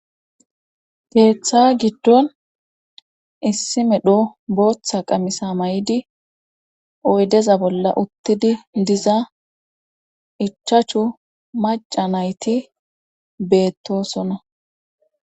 Keeththa giddon issi medho booththa qamisa may7idi oydeza bolla uttidi diza ichachu maca nayti beettosona